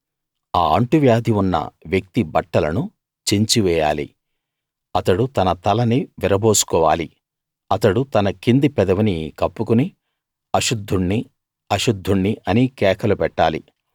ఆ అంటువ్యాధి ఉన్న వ్యక్తి బట్టలను చించివేయాలి అతడు తన తలని విరబోసుకోవాలి అతడు తన కింది పెదవిని కప్పుకుని అశుద్ధుణ్ణి అశుద్ధుణ్ణి అని కేకలు పెట్టాలి